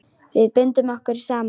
Við bundum okkur saman.